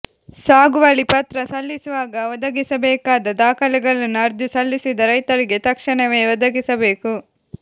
ಸಾಗುವಳಿ ಪತ್ರ ಸಲ್ಲಿಸುವಾಗ ಒದಗಿಸಬೇಕಾದ ದಾಖಲೆಗಳನ್ನು ಅರ್ಜಿ ಸಲ್ಲಿಸಿದ ರೈತರಿಗೆ ತಕ್ಷಣವೇ ಒದಗಿಸಬೇಕು